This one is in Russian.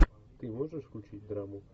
ты можешь включить драму